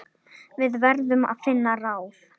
Við verðum að finna ráð.